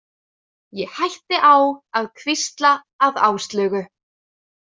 Ég hætti á að hvísla að Áslaugu.